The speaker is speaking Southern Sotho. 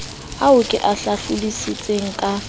ao ke a hlalositseng ka